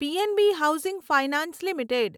PNB housing finance limited